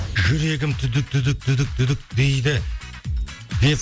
жүрегім дейді деп